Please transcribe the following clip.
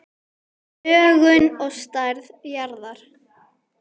Lögun og stærð jarðar